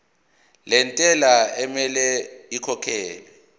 lentela okumele ikhokhekhelwe